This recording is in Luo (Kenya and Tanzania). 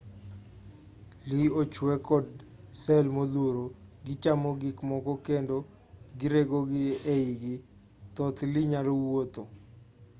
lee ochwe kod sel modhuro gichamo gikmoko kendo giregogi eigi thoth lee nyalo wuotho